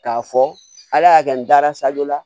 K'a fɔ ala y'a kɛ n dara sajɔ la